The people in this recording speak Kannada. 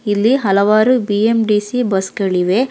ಇಲ್ಲಿ ಹಲವಾರು ಬಿ_ಎಂ_ಟಿ_ಸಿ ಬಸ್ ಗಳಿವೆ.